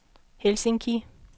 Helsinki